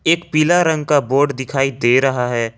एक पीला रंग का बोर्ड दिखाई दे रहा है।